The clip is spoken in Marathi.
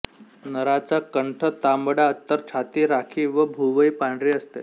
नराचा कंठ तांबडा तर छाती राखी व भुवई पांढरी असते